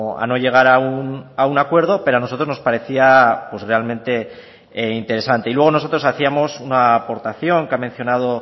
a no llegar a un acuerdo pero a nosotros nos parecía pues realmente interesante y luego nosotros hacíamos una aportación que ha mencionado